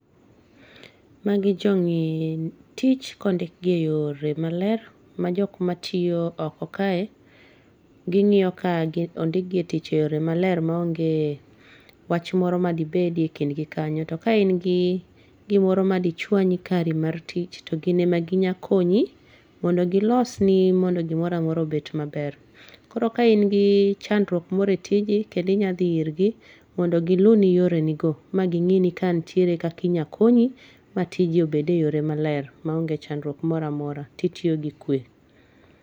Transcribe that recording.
Magi jong'i tich kondik gi e yore maler ma jok matiyo oko kae gi ng'iyo ka ondik e tich e yore maler ma onge wach moro madi bedie e kind gi kanyo, to ka in gi gimoro madi chwanyi kari mar tich to gin emagi nya konyo mondo golsni mondo gimoro amora obed maber, koro ka in gi chandruok moro e tiji kendo inya dhi ir gi mondo gi luni yore ni go ma gi ng'ini ka nitie kaki nyalo konyi ma tiji obed e yore maber ma ong'e chandruok moro amora ti tiyo gi kue.